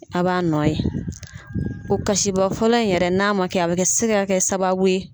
A' b'a nɔ ye. o kasiba fɔlɔ in yɛrɛ n'a ma kɛ a bɛ kɛ se kɛ sababu ye